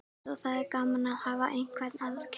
Það er svo gaman að hafa einhvern að keppa við.